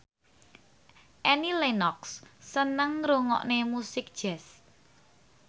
Annie Lenox seneng ngrungokne musik jazz